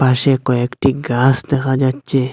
পাশে কয়েকটি গাস দেখা যাচ্ছে।